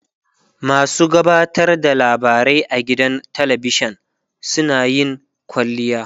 masu gabatar da labarai a gidan talavishan suna yin kwalliya